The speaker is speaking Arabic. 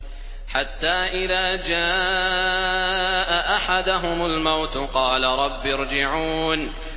حَتَّىٰ إِذَا جَاءَ أَحَدَهُمُ الْمَوْتُ قَالَ رَبِّ ارْجِعُونِ